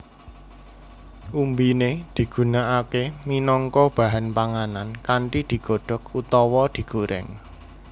Umbiné digunakaké minangka bahan panganan kanthi digodhok utawa digorèng